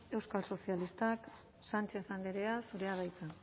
euskal sozialistak sánchez andrea zurea da hitza